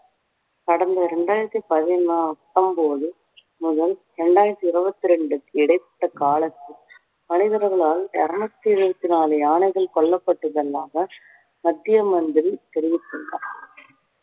கடந்த இரண்டாயிரத்தி பதி~ பத்தொன்போது முதல் இரண்டாயிரத்தி இறுபத்தி இரண்டுக்கு இடைப்பட்ட காலத்தில் மனிதர்களால் இறுநூற்றி எழுவத்தி நாலு யானைகள் கொல்லப்பட்டுள்ளதாக மத்திய மந்திரி தெரிவித்துள்ளார்